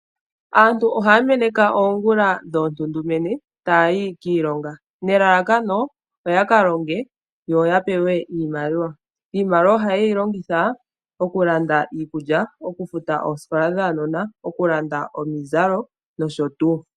Aantu ohaya meneka oongula dhoontundumenye taya yi kiilonga nelalakano oyaka longe, yo yapewe iimaliwa, Iimaliwa ohaye yi longitha oku landa iikulya, oku futa oosikola dhaanona okulanda omizalo nosho tuu.